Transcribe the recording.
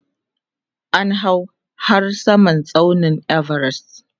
an hau har Samar tsaunin Everest